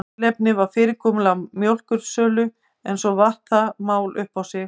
Tilefnið var fyrirkomulag mjólkursölu en svo vatt það mál upp á sig.